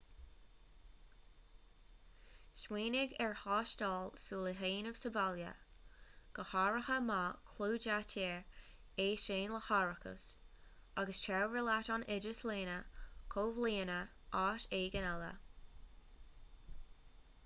smaoinigh ar thástáil súl a dhéanamh sa bhaile go háirithe má chlúdaítear é sin le hárachas agus tabhair leat an oideas lena chomhlíonadh áit éigin eile